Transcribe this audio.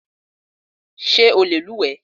Ṣé o lè luwẹ̀ẹ́?